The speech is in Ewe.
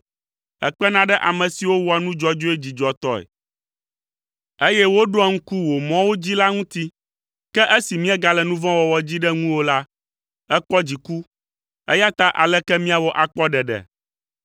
Èkpena ɖe ame siwo wɔa nu dzɔdzɔe dzidzɔtɔe, eye wòɖoa ŋku wò mɔwo dzi la ŋuti, ke esi míegale nu vɔ̃ wɔwɔ dzi ɖe ŋuwò la, èkpɔ dziku, eya ta aleke míawɔ akpɔ ɖeɖe?